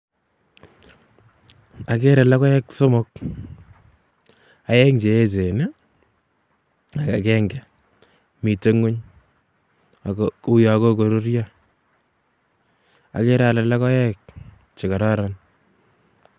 Akere logoek somok, aeng che eechen ii, ak akenge, mitei nguny ako uyo kokoruryo, akere ale logoek che kororon.